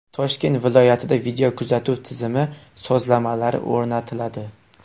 Toshkent viloyatida videokuzatuv tizimi moslamalari o‘rnatiladi.